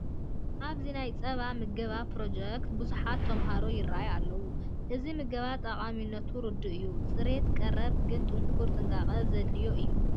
ኣብዚ ናይ ፀባ ምገባ ፕሮጀክት ብዙሓት ተመሃሮ ይርአዩ ኣለዉ፡፡ እዚ ምገባ ጠቓሚነቱ ርዱእ እዩ፡፡ ፅሬት ቀረቡ ግን ጥንኩር ጥንቃቐ ዘድልዮ እዩ፡፡